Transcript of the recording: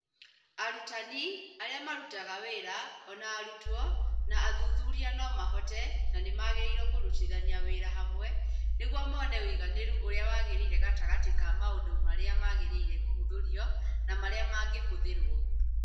Arutani, arĩa marutaga wĩra, o na arutwo na athuthuria no mahote na magĩrĩirũo kũrutithania wĩra hamwe nĩguo mone ũigananĩru ũrĩa wagĩrĩire gatagatĩ ka maũndũ marĩa magĩrĩire kũhũthĩrũo na marĩa mangĩhũthĩrũo.